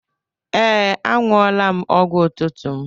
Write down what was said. Ee, añụọla m ọgwụ ụtụtụ m.